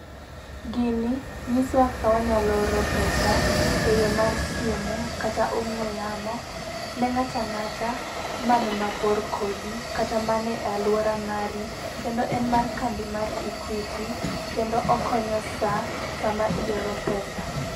Gini nyisowa kaka wanyalo oro pesa, e yoo mar simu kata ong'we yamo neng'ata ng'ata man mabor kodi, kata mane aluora mari, kendo en mar kambi mar Equity kendo okonya saa samaioro pesa.